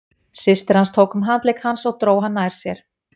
Systir hans tók um handlegg hans og dró hann nær sér.